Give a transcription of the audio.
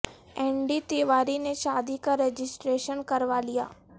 N D Tiwari نے شا دی کا ر جسٹر یشن کر وا لیا